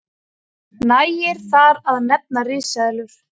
nægir þar að nefna risaeðlur